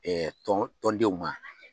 tɔn denw u ma.